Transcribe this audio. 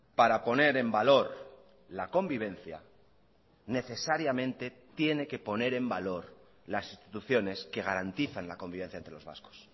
para poner en valor la convivencia necesariamente tiene que poner en valor las instituciones que garantizan la convivencia entre los vascos